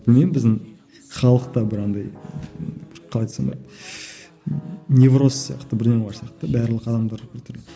білмеймін біздің халықта бір андай қалай айтсам болады невроз сияқты бірдеме бар сияқты барлық адамдар бір түрлі